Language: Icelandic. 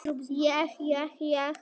Þetta er náttúrulega tilkomumikið að sjá